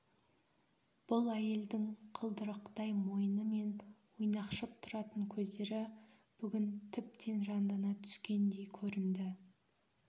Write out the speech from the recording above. бұл әйелдің қылдырықтай мойны мен ойнақшып тұратын көздері бүгін тіптен жандана түскендей көрінді